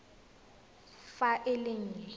fa e le e nnye